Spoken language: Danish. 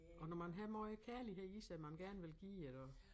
Og når man har meget kærlighed i sig man gerne vil give iggå